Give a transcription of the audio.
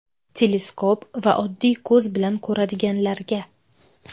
Teleskop va oddiy ko‘z bilan ko‘radiganlarga.